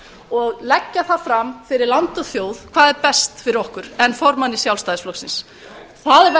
og leggja það fram fyrir land og þjóð hvað er best fyrir okkur en formanni sjálfstæðisflokksins það